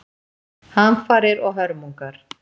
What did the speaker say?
Hamfarir og hörmungar